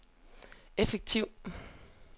effektiv